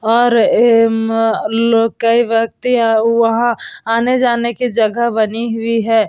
और ऐ म लोग कई व्यक्ति यह वहाँ आने-जाने की जगह बनी हुई है ।